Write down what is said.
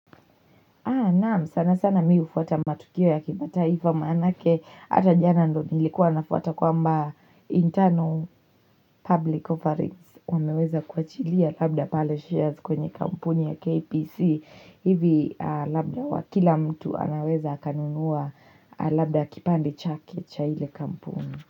Sana sana mi hufuata matukio ya kimataifa maanake ata jana ndo nilikuwa nafuata kwa mba internal public offerings wameweza kuachilia labda pale shares kwenye kampuni ya KPC hivi labda wakila mtu anaweza akanunuwa labda kipande chake cha ile kampuni.